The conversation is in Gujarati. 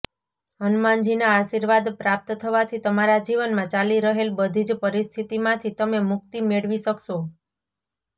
હનુમાનજીના આશીર્વાદ પ્રાપ્ત થવાથી તમારા જીવનમાં ચાલી રહેલ બધી જ પરિસ્થિતીમાંથી તમે મુક્તિ મેળવી શકશો